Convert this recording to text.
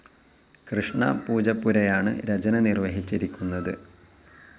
കൃഷ്ണ പൂജപ്പുരയാണ് രചന നിർവ്വഹിച്ചിരിക്കുന്നത്.